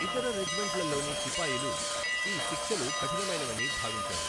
ఇతర రెజిమెంట్లలోని సిపాయిలు ఈ శిక్షలు కఠినమైనవని భావించారు.